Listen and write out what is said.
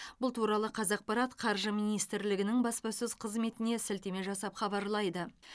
бұл туралы қазақпарат қаржы министрлігінің баспасөз қызметіне сілтеме жасап хабарлайды